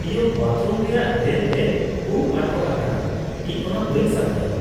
ᱤᱭᱚᱠ! Bathroom ᱨᱮᱭᱟᱜ drain ᱨᱮ ᱩᱯ ᱟᱴᱚᱠ ᱟᱠᱟᱱᱼᱟ ᱾ ᱤᱧ ᱚᱱᱟ ᱵᱟᱹᱧ ᱥᱟᱯᱷᱟᱭᱟ ᱾